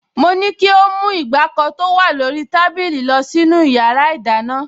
Mo ní kí ó mú ìgbàkọ tó wà lórí tábìlì lọ sínú yàrá ìdáná